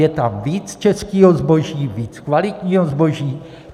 Je tam víc českého zboží, víc kvalitního zboží.